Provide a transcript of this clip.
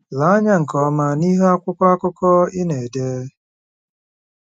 Lee anya nke ọma n'ihu akwụkwọ akụkọ ị na-ejide.